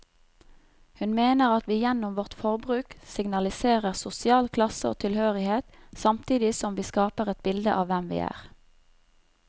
Hun mener at vi gjennom vårt forbruk signaliserer sosial klasse og tilhørighet, samtidig som vi skaper et bilde av hvem vi er.